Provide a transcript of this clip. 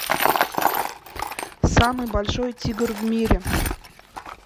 самый большой тигр в мире